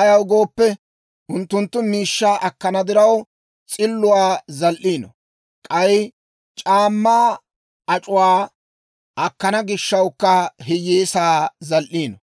Ayaw gooppe, unttunttu miishshaa akkana diraw, s'illuwaa zal"iino; k'ay c'aammaa ac'uwaa akkana gishshawukka hiyyeesaa zal"iino.